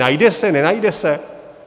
Najde se, nenajde se?